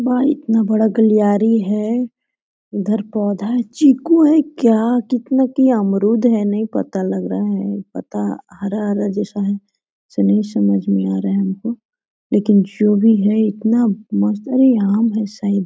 वहाँ इतना बड़ा गलियारी है इधर पौधा चीकू है क्या कितना की अमरुद है नहीं पता लग रहा है पता हरा-हरा जैसा है इसलिए समझ नहीं आ रहा है हमको लेकिन जो भी है इतना मस्त अरे आम है शायद ।